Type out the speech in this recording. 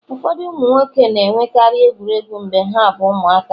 ụfọdụ ụmụ nwoke na-enwekarị egwuregwu mgbe ha bụ ụmụaka